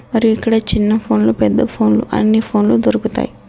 మరియు ఇక్కడ చిన్న ఫోన్‌ లు పెద్ద ఫోన్‌ లు అన్ని ఫోన్‌ లు దొరుకుతాయ్.